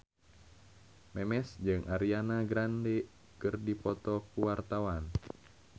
Memes jeung Ariana Grande keur dipoto ku wartawan